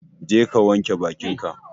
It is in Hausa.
Jeka wanka bakin ka